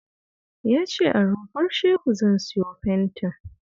Ya ce a Rumfar Shehu zan siyo fentin